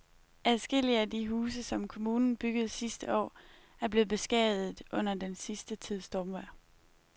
Adskillige af de huse, som kommunen byggede sidste år, er blevet beskadiget under den sidste tids stormvejr.